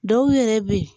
Dɔw yɛrɛ bɛ yen